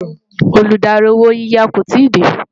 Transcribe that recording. Olùdarí owó yiyá kò tí dé